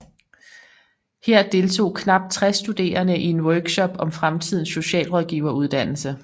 Her deltog knap 60 studerende i en workshop om fremtidens socialrådgiveruddannelse